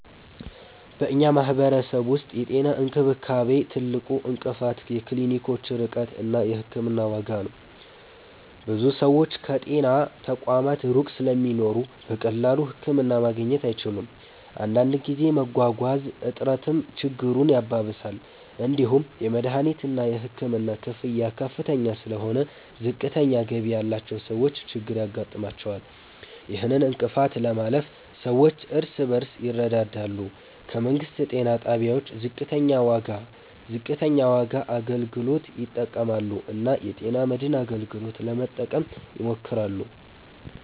በእኛ ማህበረሰብ ውስጥ የጤና እንክብካቤ ትልቁ እንቅፋት የክሊኒኮች ርቀት እና የሕክምና ዋጋ ነው። ብዙ ሰዎች ከጤና ተቋማት ሩቅ ስለሚኖሩ በቀላሉ ህክምና ማግኘት አይችሉም። አንዳንድ ጊዜ መጓጓዣ እጥረትም ችግሩን ያባብሳል። እንዲሁም የመድሀኒትና የሕክምና ክፍያ ከፍ ስለሆነ ዝቅተኛ ገቢ ያላቸው ሰዎች ችግር ያጋጥማቸዋል። ይህን እንቅፋት ለማለፍ ሰዎች እርስ በርስ ይረዳዳሉ፣ ከመንግስት ጤና ጣቢያዎች ዝቅተኛ ዋጋ አገልግሎት ይጠቀማሉ እና የጤና መድን አገልግሎትን ለመጠቀም ይሞክራሉ።